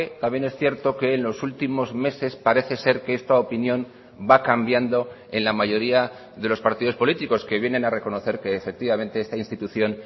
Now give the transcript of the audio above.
también es cierto que en los últimos meses parece ser que esta opinión va cambiando en la mayoría de los partidos políticos que vienen a reconocer que efectivamente esta institución